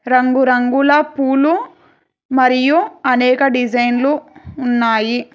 రంగురంగుల పూలు మరియు అనేక డిజైన్లు ఉన్నాయి.